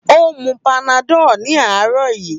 Ó mu panadol ní àárọ̀ yìí.